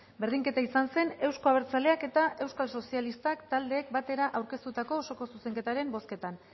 berdinketa izan zen euzko abertzaleak eta euskal sozialistak taldeek batera aurkeztutako osoko zuzenketaren bozketan